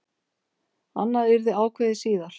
Annað yrði ákveðið síðar.